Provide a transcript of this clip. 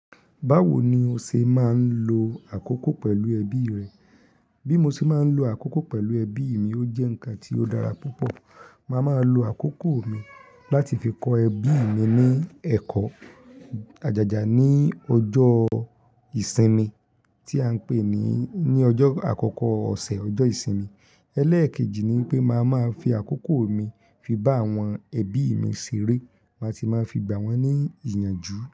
Báwo ni o ṣe máa ń lo àkókò pẹ̀lú ẹbí rẹ? Bí mo ṣe máa ń lo àkókò pẹ̀lú ẹbí mi ó jẹ́ ǹkan tó dára púpọ̀. Máa máa lo àkókò mi láti fi kọ́ ẹbí mi ní ẹ̀kọ́ ajaja ní ọjọ́ ìsinmi tí a ń pè ní, ní ọjọ́ àkọ́kọ́ ọ̀sẹ̀ ọjọ́ ìsinmi. Ẹlẹ́ẹ̀kejì ni pé màá máa fi àkókò mi fi bá àwọn ẹbí mi ṣeré, màá ti máa fi gbà wọ́n ní ìyànjú.